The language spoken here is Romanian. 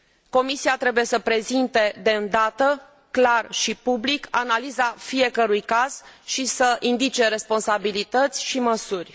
Comisia trebuie să prezinte de îndată, clar și public, analiza fiecărui caz și să indice responsabilități și măsuri.